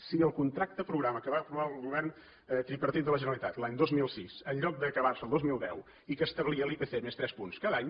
si el contracte programa que va aprovar el govern tripartit de la generalitat l’any dos mil sis en lloc d’acabar se el dos mil deu i que establia l’ipc més tres punts cada any